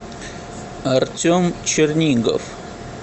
артем чернигов